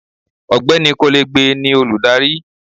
ọgbẹni kolegbe ni olùdarí